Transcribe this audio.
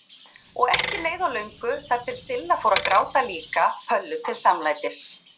Og ekki leið á löngu þar til Silla fór að gráta líka Pöllu til samlætis.